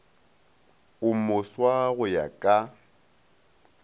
o moswa go ya ka